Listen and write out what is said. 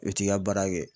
I bɛ t'i ka baara kɛ